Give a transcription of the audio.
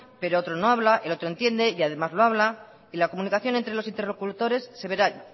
pero otro no habla el otro entiende y además lo habla y la comunicación entre los interlocutores